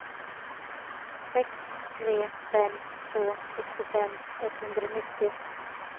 sex tre fem två sextiofem etthundranittio